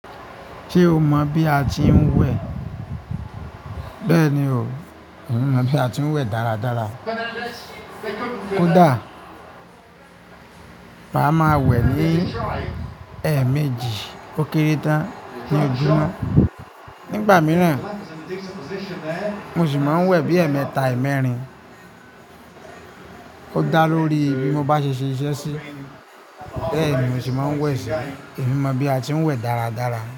Ṣé o mọ̀ bí a ti ń wẹ̀? Bẹ́ẹ̀ni o, èmi mọ̀ bí a ti ń wẹ̀ dáradára. Ko dáa, màá ma wẹ̀ ní ẹ̀ẹ̀méjì ó kéré tán ni ojúmọ́. Nígbà mìíràn, mo sì máa ń wẹ̀ bí ẹ̀ẹ̀mẹta, ẹ̀ẹ̀mẹ́rin. Ó dáa lórí bí mo bá ṣe ṣe iṣẹ́ sí. Bẹ́ẹ̀ni mo se máa ń wẹ̀ sí. Èmi mọ̀ bí a ti ń wẹ̀ dáradára.